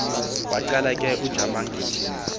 waqala ke ujamangile